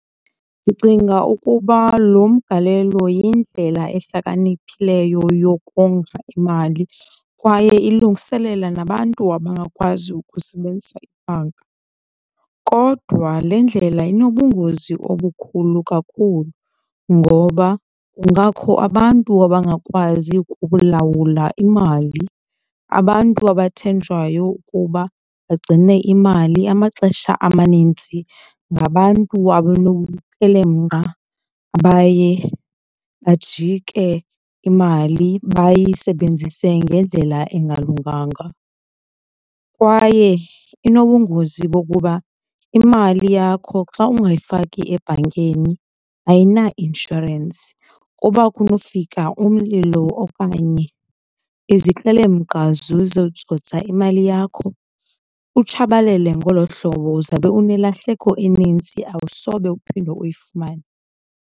Ndicinga ukuba lo mgalelo yindlela ehlakaniphileyo yokonga imali kwaye ilungiselela nabantu abangakwazi ukusebenzisa imali. Kodwa le ndlela inobungozi obukhulu kakhulu ngoba kungakho abantu abangakwazi ukulawula imali. Abantu abathenjwayo ukuba bagcine imali amaxesha amanintsi ngabantu abanobukrelemnqa abaye bajike, imali bayisebenzise ngendlela engalunganga. Kwaye inobungozi bokuba imali yakho xa ungayifaki ebhankini ayinainshorensi, kuba kunofika umlilo okanye izikrelemnqa zizotsotsa imali yakho, kutshabalele ngolo hlobo. Uzawube unelahleko enintsi awusobe uphinde uyifumane.